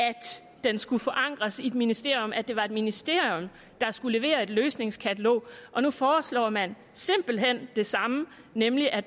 den skulle forankres i et ministerium at det var et ministerium der skulle levere et løsningskatalog og nu foreslår man simpelt hen det samme nemlig at